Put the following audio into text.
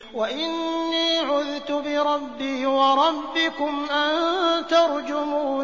وَإِنِّي عُذْتُ بِرَبِّي وَرَبِّكُمْ أَن تَرْجُمُونِ